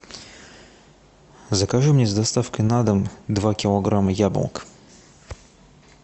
закажи мне с доставкой на дом два килограмма яблок